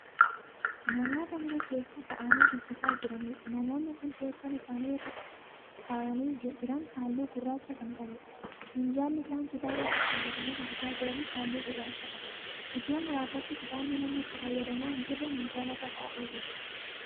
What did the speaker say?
Namoota mana keessa taa'anii dubbisaa jiraniidha. Namoonni Kuni teessoon isaan irra taa'anii jiran halluu gurraacha Kan qabuudha. Minjaalli isaan kitaaba irra kaawwatanii dubbisaa jiranis halluu gurracha qaba. Iddo muraasatti kitaabni namni itti fayyadamaa hin jirre minjaalarra taa'ee jira.